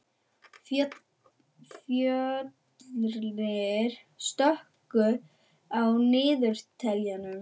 Fjölnir, slökktu á niðurteljaranum.